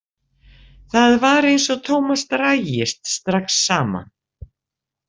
Það var eins og Tómas drægist strax saman.